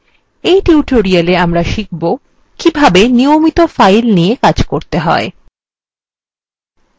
in tutorialwe আমরা শিখব কিভাবে নিয়মিত files নিয়ে কাজ করতে হয়